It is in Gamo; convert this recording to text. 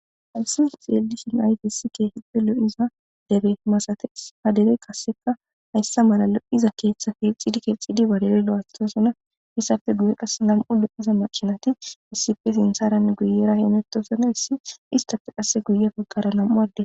Haysi xeelishn ayfesi keehippe lo'iza dere masates, ha dereyi qaseka haysa mala lo'iza keethati lo'ethidi kexidi keehidi lo'ethosona ,izappe guye qase nam'u lo'iza makinayi issippe sintharanne guyera hamutosona, istappe qase guye bagara nam'u adeti....